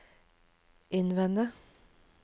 innvende